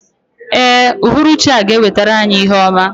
Ee, uhuruchi a ga-ewetara anyị ihe ọma.